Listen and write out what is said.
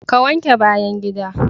Ka wanke bayan gida.